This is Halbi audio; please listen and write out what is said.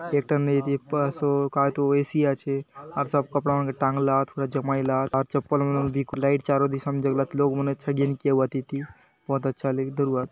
एक ठन नेबिक पास ओ का तो ए_सी आचे अर सब कपड़ा मन के टांगला थोड़ा जमाइला आर चप्पल मन भी कु लाईट चारो दिसन जरुरत लोग मनेछे गिन केओ अतिति बहोत अच्छा लेख दुर्बात।